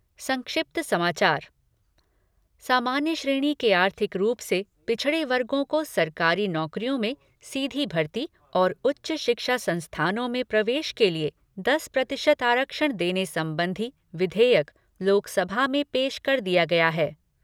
संक्षिप्त समाचार सामान्य श्रेणी के आर्थिक रूप से पिछड़े वर्गों को सरकारी नौकरियों में सीधी भर्ती और उच्च शिक्षा संस्थानों में प्रवेश के लिए दस प्रतिशत आरक्षण देने संबंधी विधेयक, लोकसभा में पेश कर दिया गया है।